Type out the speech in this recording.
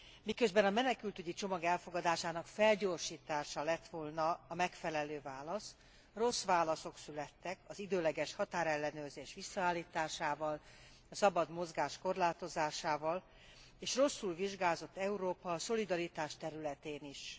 Miközben a menekültügyi csomag elfogadásának felgyorsítása lett volna a megfelelő válasz, rossz válaszok születtek az időleges határellenőrzés visszaállításával, a szabad mozgás korlátozásával, és rosszul vizsgázott Európa a szolidaritás területén is.